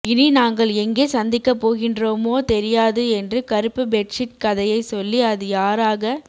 இனி நாங்கள் எங்கே சந்திக்க போகின்றோமோ தெரியாது என்று கறுப்பு பெட்சீட் கதையை சொல்லி அது யாராக